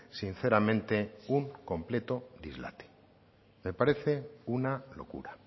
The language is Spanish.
sinceramente un completo dislate me parece una locura